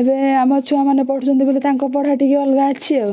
ଏବେ ଆମ ଛୁଆ ମାନେ ପଢୁଛନ୍ତି ବୋଲେ ତାଙ୍କ ପଢା ଟିକେ ଅଲଗା ଅଛି ଆଉ